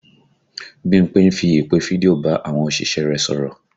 Bímpé fi ìpè fídíò bá àwọn òṣìṣẹ́ rẹ̀ sọ̀rọ̀